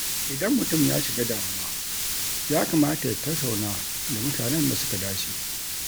Idan mutum ya shiga damuwa, ya kamata ya tattauna da mutanen da suka dace.